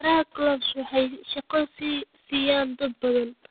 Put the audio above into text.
Beeraha Clove waxay shaqo siiyaan dad badan.